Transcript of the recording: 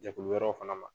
Jɛkulu wɛrɛw fana ma